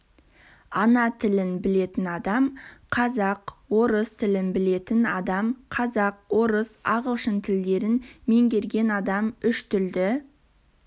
ана тілін білетін адам қазақ орыс тілін білетін адам қазақ орыс ағылшын тілдерін меңгерген адам үштілді